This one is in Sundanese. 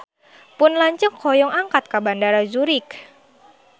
Pun lanceuk hoyong angkat ka Bandara Zurich